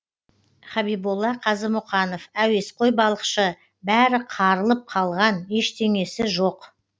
хабиболла қазымұқанов әуесқой балықшы бәрі қарылып қалған ештеңесі жоқ